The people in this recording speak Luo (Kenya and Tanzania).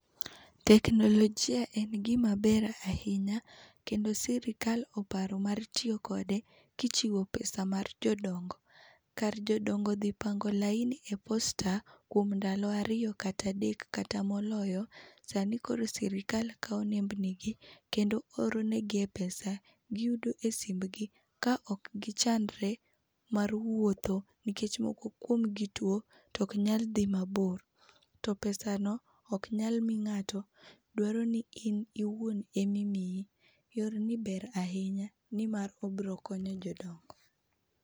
Teknolojia en gima ber ahinya kendo sirikal oparo mar tiyo kode kichiwo pesa mar jodongo . Kar jodongo dhi pango laini e posta kuom ndalo ariyo kata adek kata moloyo, sani koro sirkal kaw nembeni gi kendo oronegi e pesa giyudo e simbgi ka ok gichandre ma rwuotho ka moko kuomgi tuo to ok nyal dhi mabor. To pesano ok nyal mii ngato dwaroni in iwuon ema imiyi. Yorni ber ahinya nimar obiro konyo jodak